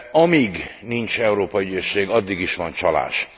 Amíg nincs Európai Ügyészség, addig is van csalás.